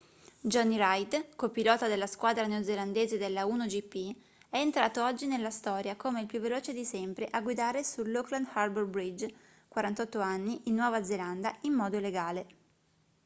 jonny reid co-pilota della squadra neozelandese dell'a1gp è entrato oggi nella storia come il più veloce di sempre a guidare sull'auckland harbour bridge 48 anni in nuova zelanda in modo legale